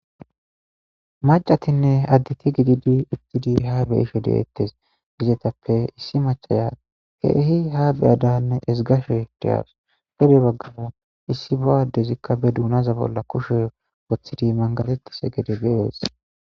Macatinne additi gididi ittidi ha beishe deettes gizetappe issi machaya keehi ha beyadanne esgashe deawus here baggafa issi bo7addezikka be duunaza bolla kushe woththidi mangaletise gede beyees.